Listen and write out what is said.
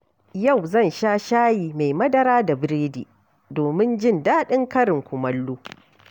Yau zan sha shayi mai madara da biredi domin jin daɗin karin kumallo.